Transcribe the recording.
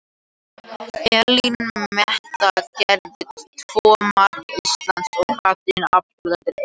Elín Metta gerði tvö marka Íslands og Katrín Ásbjörnsdóttir eitt.